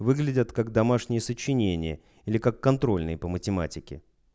выглядят как домашнее сочинения или как контрольные по математике